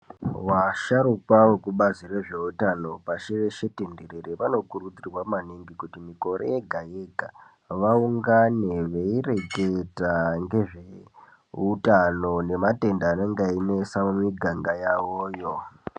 Vasharuka vekubazi rezveutano pashi reshe tindirere vanokurudzirwa maningi kuti mikore yega yega vaungane veireketa ngezveutano nematenda anenge einesa mumiganga yavo yoo.